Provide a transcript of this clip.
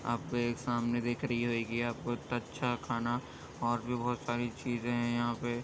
आपको एक सामने दिख रही होयगी । आपको इत्ता अच्छा खाना और भी बोहोत सारी चीज हैं यहाँ पे।